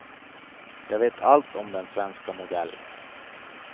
Jag vet allt om den svenska modellen.